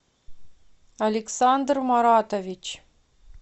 александр маратович